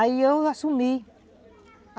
Aí eu assumi.